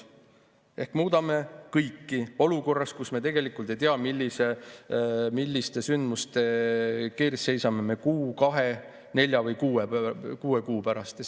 Me muudame kõike olukorras, kus me tegelikult ei tea, milliste sündmuste ees me seisame kuu, kahe, nelja või kuue kuu pärast.